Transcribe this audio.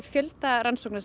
fjöldi rannsókna